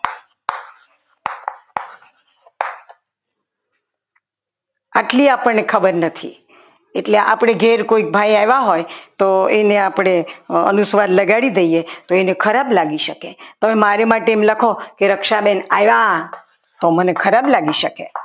આટલી આપણને ખબર નથી એટલે આપણે ઘેર કોઈ ભાઈ આવ્યા હોય તો એને આપણે અનુસ્વાર લગાડી દઈએ તો એને ખરાબ લાગી શકે તો મારી માટે એમ લખો કે રક્ષાબેન આવ્યા તો મને ખરાબ લાગી શકે